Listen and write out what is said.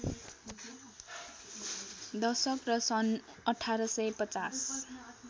दशक र सन् १८५०